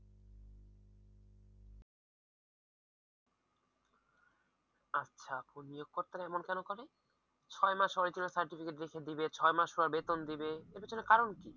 আচ্ছা আপু নিয়োগকর্তারা এমন কেন করে ছয় মাস original certificate রেখে দিয়ে ছয় মাস পর বেতন দিবে এটার কারণ কি?